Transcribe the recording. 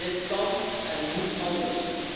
Dit kan en moet anders.